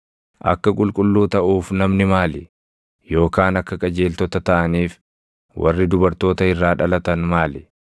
“Akka qulqulluu taʼuuf namni maali? Yookaan akka qajeeltota taʼaniif warri dubartoota irraa dhalatan maali?